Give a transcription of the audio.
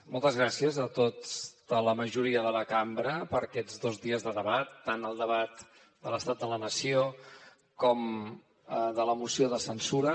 moltes gràcies a tota la majoria de la cambra per aquests dos dies de debat tant el debat de l’estat de la nació com de la moció de censura